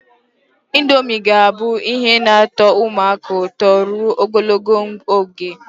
Indomie ga-abụ ihe na-atọ ụmụaka ụtọ ruo ogologo oge.